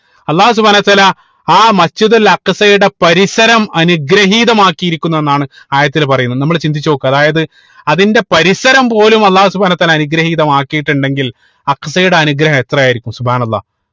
അള്ളാഹു സുബ്‌ഹാനഉ വതാല ആ Masjid ഉൽ അക്സയുടെ പരിസരം അനുഗ്രഹീതമാക്കിയിരിക്കുന്നു എന്നാണ് ആയത്തിൽ പറയുന്നത് നമ്മൾ ചിന്തിച്ച് നോക്ക് അതായത് അതിന്റെ പരിസരം പോലും അള്ളാഹു സുബ്‌ഹാനഉ വതാല അനുഗ്രഹീതമാക്കിയിട്ടുണ്ടെങ്കിൽ അക്സയുടെ അനുഗ്രഹം എത്രയായിരിക്കും അള്ളാഹ്